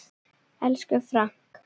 Elsku Frank.